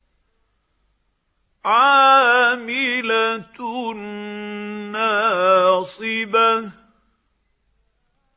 عَامِلَةٌ نَّاصِبَةٌ